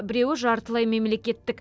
біреуі жартылай мемлекеттік